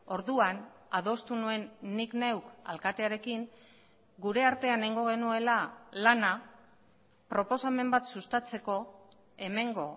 orduan adostu nuen nik neuk alkatearekin gure artean egingo genuela lana proposamen bat sustatzeko hemengo